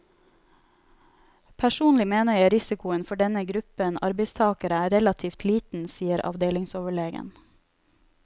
Personlig mener jeg risikoen for denne gruppen arbeidstagere er relativt liten, sier avdelingsoverlegen.